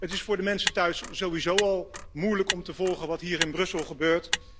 Het is voor de mensen thuis sowieso al moeilijk om te volgen wat hier in Brussel gebeurt.